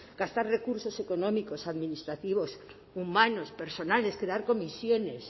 gastar recursos económicos administrativos humanos personales crear comisiones